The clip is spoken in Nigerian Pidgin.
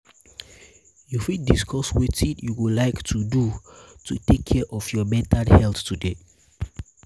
you fit discuss wetin you go like to do to take care of your mental health today?